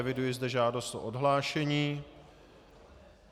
Eviduji zde žádost o odhlášení.